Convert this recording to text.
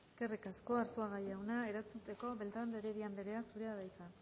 eskerrik asko arzuaga jauna erantzuteko beltrán de heredia andrea zurea da hitza